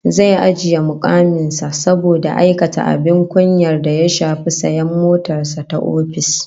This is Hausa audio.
Zai ajiye mukamin sa saboda aikata abin kunya da ya shafi sayan motar sa ta ofis